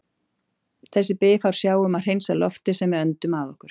Þessi bifhár sjá um að hreinsa loftið sem við öndum að okkur.